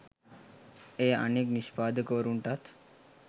එය අනෙක් නිෂ්පාදකවරුන්ටත්